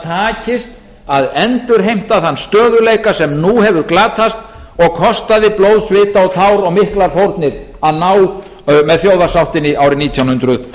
takist að endurheimta þann stöðugleika sem nú hefur glatast og kostaði blóð svita tár og miklar fórnir að ná með þjóðarsáttinni árið nítján hundruð